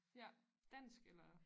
Ja dansk eller